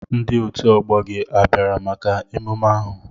Ndi otu ọgbọ gị a bịara maka emume ahụ?